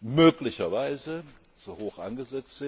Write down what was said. möglicherweise zu hoch angesetzt